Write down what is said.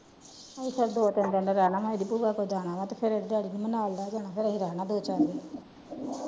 ਅਜੇ ਛੱਡੋ ਤਿਨ ਦਿਨ ਦਾ ਜਾਣਾ ਅਜੇ ਆਪ ਵਿਆਹ ਤੇ ਜਾਣਾ ਵਾ ਤੇ ਫੇਰ ਡੈਡੀ ਜੀ ਨੇ ਨਾਲ ਲਾਇ ਜਾਣਾ ਫੇਰ ਅਸੀ ਰਹਿਣਾ ਦੋ ਚਾਰ ਦਿਨ।